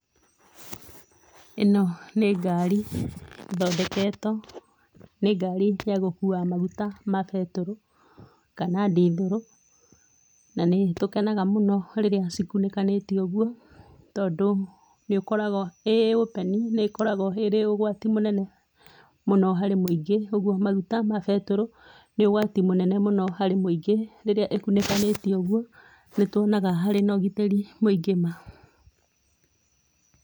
Ĩno nĩ ngari ĩthondeketwo, nĩ ngari ya gũkua maguta ma betũrũ kana ndithũrũ, na nĩ tũkenaga mũno rĩrĩa cikunĩkanĩtio ũguo tondũ nĩ ũkoragwo, ĩ open, nĩ ĩkoragwo ĩrĩ ũgwati mũnene mũno harĩ mũingĩ. Ũguo maguta ma betũrũ nĩ ũgwati mũnene mũno harĩ mũingĩ. Rĩrĩa ĩkunĩkanĩtio ũguo nĩ tũonaga harĩ na ũgitĩri mũingĩ ma.